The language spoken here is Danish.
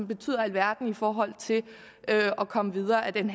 betyder alverden i forhold til at komme videre ad den